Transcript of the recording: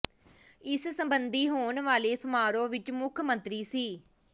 ਇਸ ਸਬੰਧੀ ਹੋਣ ਵਾਲੇ ਸਮਾਰੋਹ ਵਿੱਚ ਮੁੱਖ ਮੰਤਰੀ ਸ